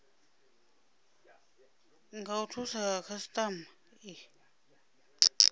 nga u thusa khasitama